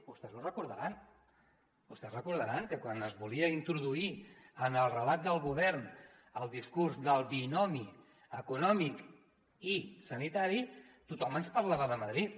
vostès ho recordaran vostès recordaran que quan es volia introduir en el relat del govern el discurs del binomi econòmic i sanitari tothom ens parlava de madrid